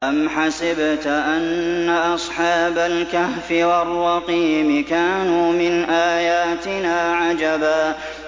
أَمْ حَسِبْتَ أَنَّ أَصْحَابَ الْكَهْفِ وَالرَّقِيمِ كَانُوا مِنْ آيَاتِنَا عَجَبًا